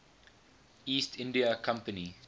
east india company